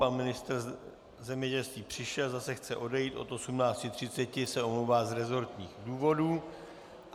Pan ministr zemědělství přišel, zase chce odejít, od 18.30 se omlouvá z resortních důvodů.